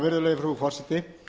virðulega frú forseti